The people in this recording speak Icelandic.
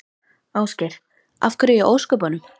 Ásgeir: Af hverju í ósköpunum?